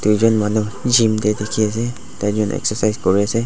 duijon manu gym tae dikhiase daijon excercise kuriase.